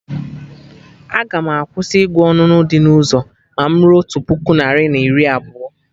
Aga m akwụsị ịgụ onunu dị na ụzọ ma mụ ruo otu puku narị na iri na abụọ